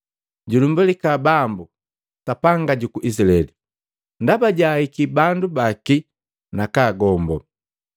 “Julumbalika Bambu, Sapanga juku Izilaeli! Ndaba jahiki bandu baki nakagombo.